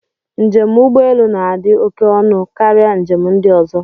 Njem ụgbọelu na-adị oké ọnụ karịa njem ndị ọzọ.